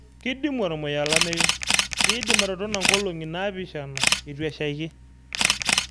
kidimu ormuya olameyu kidim atotona ngolongi naapishana itu eshaiki